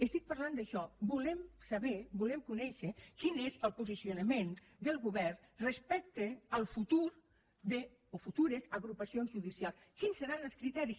estic parlant d’això volem saber volem conèixer quin és el posicionament del govern respecte al futur a futures agrupacions judicials quins seran els criteris